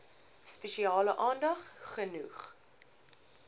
spesiale aandag genoeg